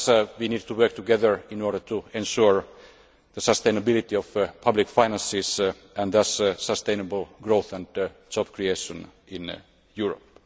We need to work together in order to ensure the sustainability of public finances and thus sustainable growth and job creation in Europe.